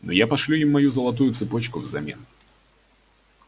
но я пошлю им мою золотую цепочку взамен